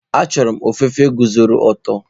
Achọrọ m ofufe guzoro ọtọ.